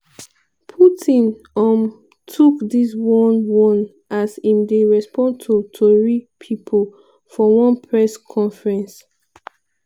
putin um tok dis one one as im dey respond to tori pipo for one press conference